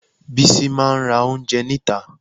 Bísí máa ra oúnjẹ níta